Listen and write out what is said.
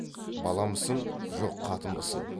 баламысың жоқ қатынбысың